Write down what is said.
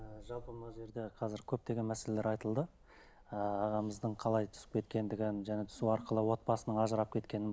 ы жалпы мына жерде қазір көптеген мәселелер айтылды ыыы ағамыздың қалай түсіп кеткендігін жаңа түсу арқылы отбасынан ажырап кеткенін